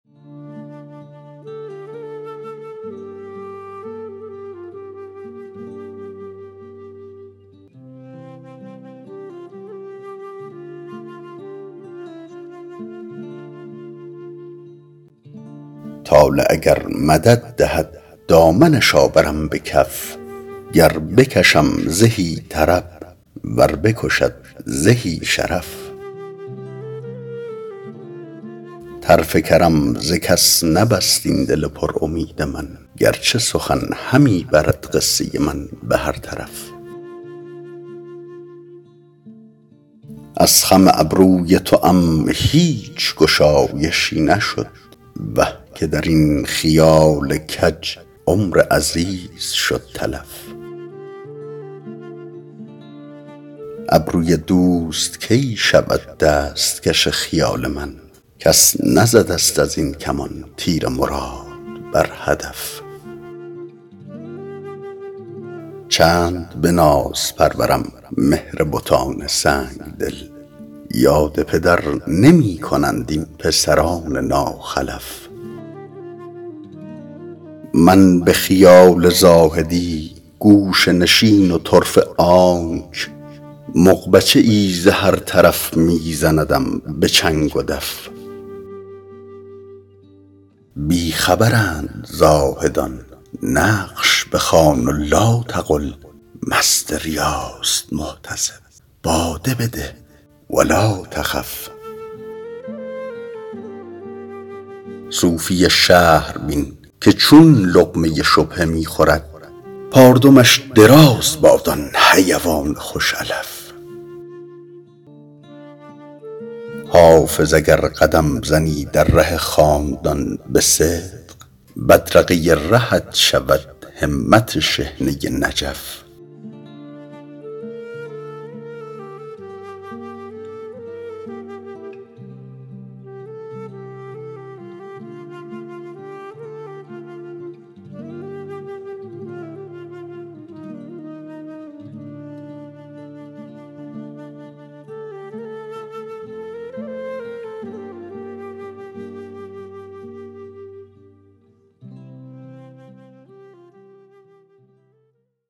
طالع اگر مدد دهد دامنش آورم به کف گر بکشم زهی طرب ور بکشد زهی شرف طرف کرم ز کس نبست این دل پر امید من گر چه سخن همی برد قصه من به هر طرف از خم ابروی توام هیچ گشایشی نشد وه که در این خیال کج عمر عزیز شد تلف ابروی دوست کی شود دست کش خیال من کس نزده ست از این کمان تیر مراد بر هدف چند به ناز پرورم مهر بتان سنگ دل یاد پدر نمی کنند این پسران ناخلف من به خیال زاهدی گوشه نشین و طرفه آنک مغبچه ای ز هر طرف می زندم به چنگ و دف بی خبرند زاهدان نقش بخوان و لاتقل مست ریاست محتسب باده بده و لاتخف صوفی شهر بین که چون لقمه شبهه می خورد پاردمش دراز باد آن حیوان خوش علف حافظ اگر قدم زنی در ره خاندان به صدق بدرقه رهت شود همت شحنه نجف